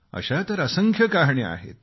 अशा तर असंख्य कहाण्या आहेत